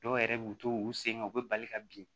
Dɔw yɛrɛ b'u to u sen kan u bɛ bali ka bin